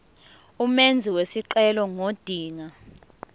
umenzi wesicelo ngodinga